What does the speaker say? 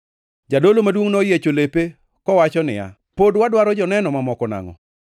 Jadolo maduongʼ noyiecho lepe kowacho niya, “Pod wadwaro joneno mamoko nangʼo?